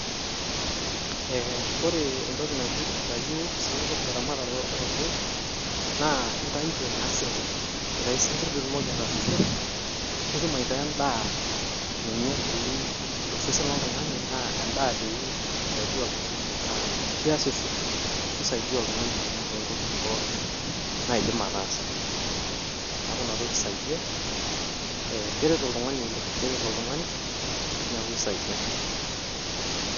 Eeh ore entoki naji aitayu isinkirr te ramatare oo sinkirr naa intayuto naa isinkii. Aitayu isinkirr pe itumoki ataasishore nitum aitaa en`daa ninye doi to sesen lo oltung`ani aa endaa doi naisaidia oltung`ani metaa keasisho nisaidia oltung`ani oleng too ntokitin pookin naidim ataasa. Niaku ina toki isaidia ee keret oltung`ani oleng, keret oltung`ani niaku keisaidia.